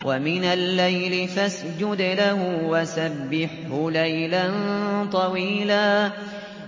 وَمِنَ اللَّيْلِ فَاسْجُدْ لَهُ وَسَبِّحْهُ لَيْلًا طَوِيلًا